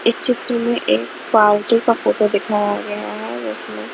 इस चित्र में एक पार्टी का फोटो दिखाया गया है जिसमें